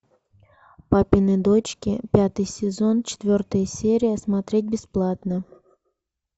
папины дочки пятый сезон четвертая серия смотреть бесплатно